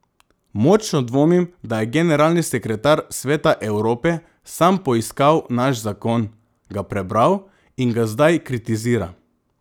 Močno dvomim, da je generalni sekretar Sveta Evrope sam poiskal naš zakon, ga prebral in ga zdaj kritizira.